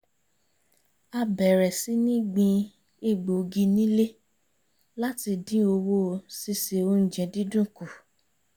a bẹ̀rẹ̀ sí ní gbin egbògi nílé láti dín owó síse oúnjẹ dídùn kù